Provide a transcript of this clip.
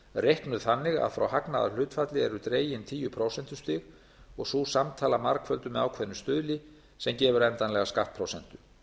reiknuð þannig að frá hagnaðarhlutfalli eru dregin tíu prósentustig og sú samtala margfölduð með ákveðnum stuðli sem gefur endanlega skattprósentu